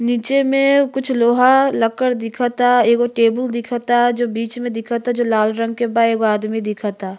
नीचे में कुछ लोहा लकड़ दिखता। एगो टेबुल दिखता जो बीच में दिखता जो लाल रंग के बा। एगो आदमी दिखता।